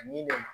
Ani ne